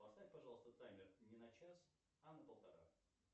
поставь пожалуйста таймер не на час а на полтора